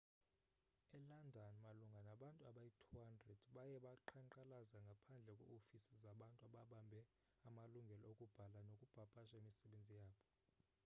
elondon malunga nabantu abayi-200 baye baqhankqalaza ngaphandle kweeofisi zabantu ababambe amalungelo okubhala nokupapasha imisebenzi yabo